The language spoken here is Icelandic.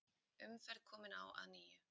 Umferð komin á að nýju